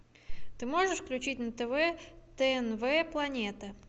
ты можешь включить на тв тнв планета